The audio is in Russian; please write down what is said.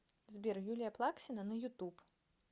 сбер юлия плаксина на ютуб